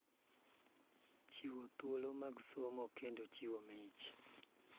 Chiwo thuolo mag somo, kendo chiwo mich